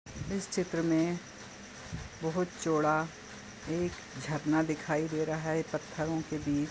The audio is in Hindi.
इस चित्र में बहुत चोडा एक झरना दिखाई दे रहा है पत्थरो के बीच।